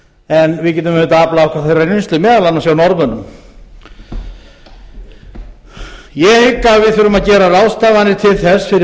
en við getum auðvitað aflað okkur þeirrar reynslu meðal annars hjá norðmönnum ég hygg að við þurfum að gera ráðstafanir til þess fyrir